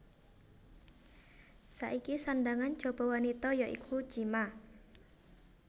Saiki sandhangan jaba wanita ya iku chima